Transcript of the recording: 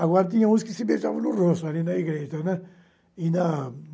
Agora tinha uns que se beijavam no rosto, ali na igreja, né. E na